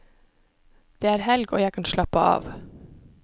Det er helg og jeg kan slappe av.